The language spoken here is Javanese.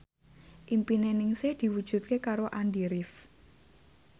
impine Ningsih diwujudke karo Andy rif